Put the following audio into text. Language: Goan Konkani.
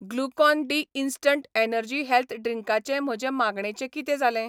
Glucon D instant energy health ड्रिंकाचे म्हजे मागणेचें कितें जालें?